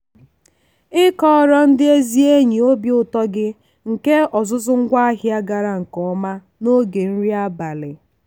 ịkọrọ ndị ezi enyi obi ụtọ gị nke ọzụzụ ngwaahịa gara nke ọma n'oge nri abalị.